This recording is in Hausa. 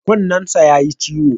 Kunnensa ya yi ciwo.